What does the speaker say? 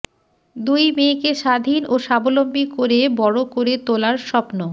দুই মেয়েকে স্বাধীন ও স্বাবলম্বী করে বড় করে তোলার স্বপ্ন